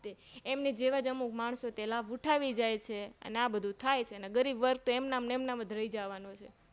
એમની જેવાજ અમુક માણસો લાભ ઉઠાવી જાય છે અને આ બધું થાય છે અને ગરીબવર્ગતો એમન મજ રહીજા વાનો છે